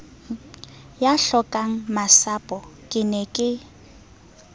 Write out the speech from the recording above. ya hlokangmasapo ke ne ke